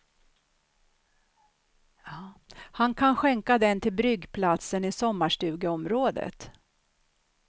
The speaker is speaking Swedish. Han kan skänka den till bryggplatsen i sommarstugeområdet.